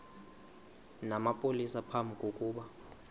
namapolisa phambi kokuba